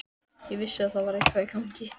Ég vissi að það var eitthvað í gangi.